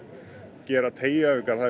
gera teygjuæfingar það er